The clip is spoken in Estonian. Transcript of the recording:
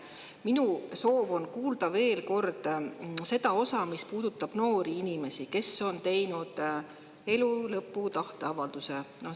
Minu soov on kuulda veel kord seda osa, mis puudutab noori inimesi, kes on teinud elu lõpu tahteavalduse.